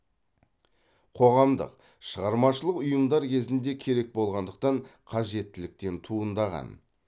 қоғамдық шығармашылық ұйымдар кезінде керек болғандықтан қажеттіліктен туындаған